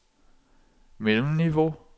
mellemniveau